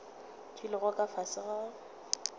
di lego ka fase ga